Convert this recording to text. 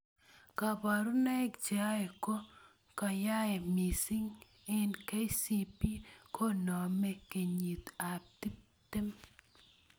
Kaborunoik choe ko koyaaha mising eng KCB koname kinyit ab tiptem.